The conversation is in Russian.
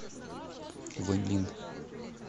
вэньлин